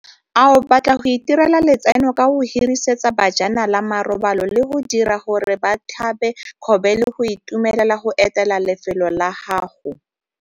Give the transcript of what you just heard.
Ao batla go itirela letseno ka go hirisetsa bajanala marobalo le go dira gore ba tlhabe kgobe le go itumelela go etela lefelo la gago?